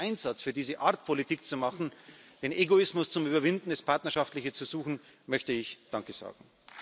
Für diesen Einsatz, für diese Art, Politik zu machen, den Egoismus zu überwinden, das Partnerschaftliche zu suchen, möchte ich danke sagen.